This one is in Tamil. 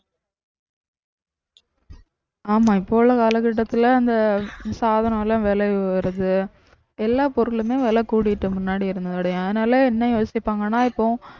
ஆமா இப்ப உள்ள காலகட்டத்துல அந்த சாதனம் எல்லாம் விலை உயரது எல்லா பொருளுமே விலை கூடிட்டு முன்னாடி இருந்ததோடையும் அதனால என்ன யோசிப்பாங்கன்னா இப்போ